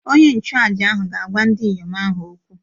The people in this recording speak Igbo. Onye nchụàjà ahụ ga-agwa ndị inyom ahụ okwu